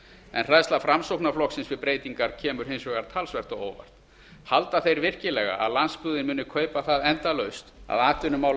en hræðsla framsóknarflokksins við breytingar kemur hins vegar talsvert á óvart heldur hann virkilega að landsbyggðin muni kaupa það endalaust að atvinnumál